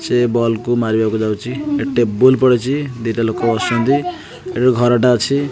ସେ ବଲ୍ କୁ ମାରିବାକୁ ଯାଉଚି ଟେବୁଲ ପଡିଚି ଦିଟା ଲୋକ ବସିଛ ନ୍ତି ଏହି ଘର ଟା ଅଛି।